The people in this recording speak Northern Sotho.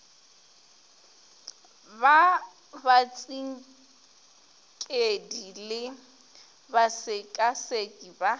ba batsinkedi le basekaseki ba